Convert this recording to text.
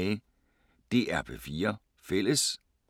DR P4 Fælles